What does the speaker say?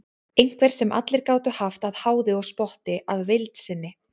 Einhver sem allir gátu haft að háði og spotti að vild sinni.